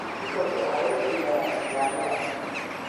pickles waxaa laga sameeyaa yaanyada.